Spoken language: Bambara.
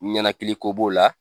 Ɲɛnakili ko b'o la